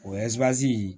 O ɛziwazi